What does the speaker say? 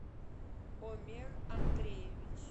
омер андреевич